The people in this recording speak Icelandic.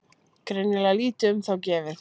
Greinilega lítið um þá gefið.